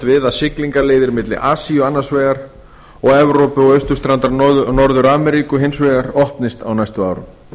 við að siglingaleiðir milli asíu annars vegar og evrópu og austurstrandar norður ameríku hins vegar opnist á næstu árum